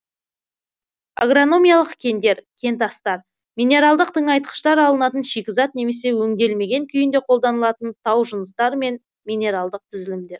агрономиялық кендер кентастар минералдық тыңайтқыштар алынатын шикізат немесе өңделмеген күйінде қолданылатын тау жыныстары мен минералдық түзілімдер